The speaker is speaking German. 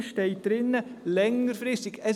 Hier steht «längerfristig» drin.